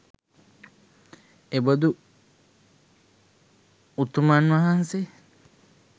එබඳු උතුමන් වහන්සේ